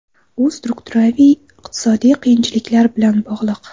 U strukturaviy iqtisodiy qiyinchiliklar bilan bog‘liq.